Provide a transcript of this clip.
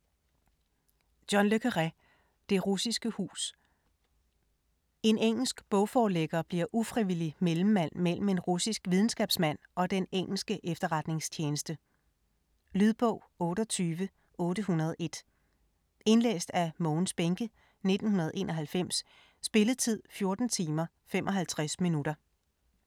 Le Carré, John: Det russiske hus En engelsk bogforlægger bliver ufrivillig mellemmand mellem en russisk videnskabsmand og den engelske efterretningstjeneste. Lydbog 28801 Indlæst af Mogens Bähncke, 1991. Spilletid: 14 timer, 55 minutter.